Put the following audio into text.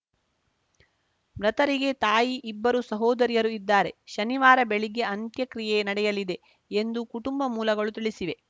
ಮೃತರಿಗೆ ತಾಯಿ ಇಬ್ಬರು ಸಹೋದರಿಯರು ಇದ್ದಾರೆ ಶನಿವಾರ ಬೆಳಿಗ್ಗೆ ಅಂತ್ಯಕ್ರಿಯೆ ನಡೆಯಲಿದೆ ಎಂದು ಕುಟುಂಬ ಮೂಲಗಳು ತಿಳಿಸಿವೆ